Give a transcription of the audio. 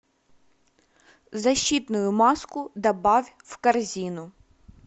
защитную маску добавь в корзину